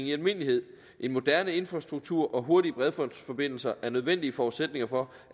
i almindelighed en moderne infrastruktur og hurtige bredbåndsforbindelser er nødvendige forudsætninger for